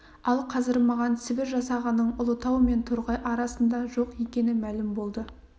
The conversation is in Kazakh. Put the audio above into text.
ал қазір маған сібір жасағының ұлытау мен торғай арасында жоқ екені мәлім болды